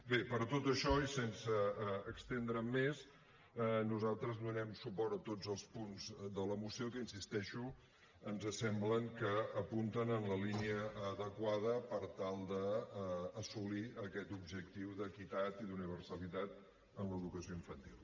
bé per tot això i sense estendre’m més nosaltres donem suport a tots els punts de la moció que hi insisteixo ens sembla que apunten en la línia adequada per tal d’assolir aquest objectiu d’equitat i d’universalitat en l’educació infantil